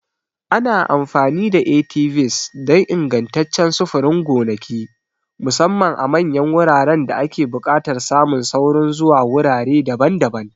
Ana amfani da ATVs don ingantaccen sufurin gonaki, musamman a manyan wuraren da ake buƙatar samun saurin zuwa wurare daban-daban.